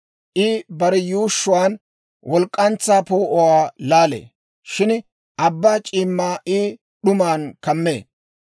I bare yuushshuwaan walk'k'antsaa poo'uwaa laalee; shin abbaa c'iimmaa I d'uman kammee.